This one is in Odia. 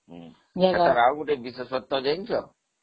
ଆଉ ଗୋଟେ ବିଶେଷତ୍ବ ଜାଣିଛ